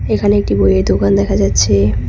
এখানে একটি বইয়ের দোকান দেখা যাচ্ছে।